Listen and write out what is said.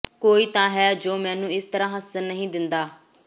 ਕੋਈ ਤਾਂ ਹੈ ਜੋ ਮੈਨੂੰ ਇਸ ਤਰਾਂ ਹੱਸਣ ਨਹੀਂ ਦਿੰਦਾ